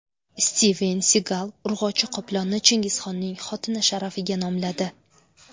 Stiven Sigal urg‘ochi qoplonni Chingizxonning xotini sharafiga nomladi.